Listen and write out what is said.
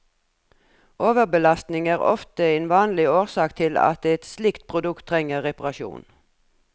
Overbelastning er ofte en vanlig årsak til at et slikt produkt trenger reparasjon.